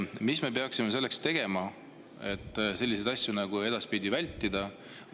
Mida me peaksime tegema, et selliseid asju edaspidi vältida?